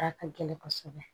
A ka gɛlɛn kosɛbɛ